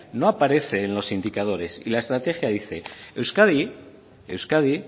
no aparece en los indicadores y la estrategia dice euskadi euskadi